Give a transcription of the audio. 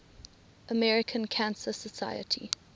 american cancer society